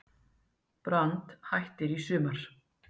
Brand hættir í sumar